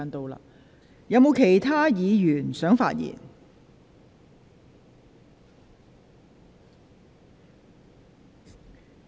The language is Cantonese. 是否有其他議員想發言？